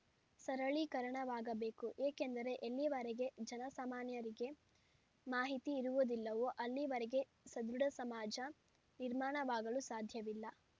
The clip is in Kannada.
ಸರಳೀಕರಣವಾಗಬೇಕು ಏಕೆಂದರೆ ಎಲ್ಲಿವರೆಗೆ ಜನಸಾಮಾನ್ಯರಿಗೆ ಮಾಹಿತಿ ಇರುವುದಿಲ್ಲವೋ ಅಲ್ಲಿವರೆಗೆ ಸದೃಡ ಸಮಾಜ ನಿರ್ಮಾಣವಾಗಲು ಸಾಧ್ಯವಿಲ್ಲ